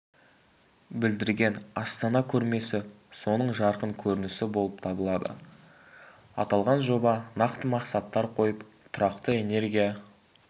білдірген астана көрмесі соның жарқын көрінісі болып табылады аталған жоба нақты мақсаттар қойып тұрақты энергия